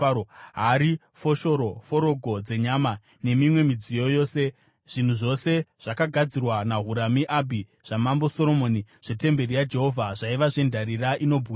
hari, foshoro, forogo dzenyama, nemimwe midziyo yose. Zvinhu zvose zvakagadzirwa naHurami-Abhi zvamambo Soromoni zvetemberi yaJehovha zvaiva zvendarira inobwinya.